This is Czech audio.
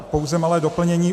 Pouze malé doplnění.